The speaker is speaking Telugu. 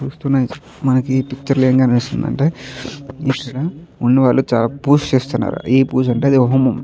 మనకి పిక్చర్ లో ఏం కనిపిస్తుందంటే ఇక్కడ ఉన్నవాళ్లు పూజ చేస్తున్నారు ఏం పూజ అంటే హోమం.